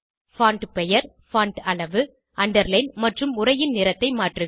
font பெயர் font அளவு underline மற்றும் உரையின் நிறத்தை மாற்றுக